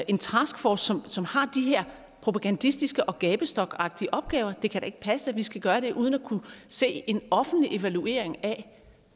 en taskforce som har de her propagandistiske og gabestokagtige opgaver det kan da ikke passe at vi skal gøre det uden at kunne se en offentlig evaluering af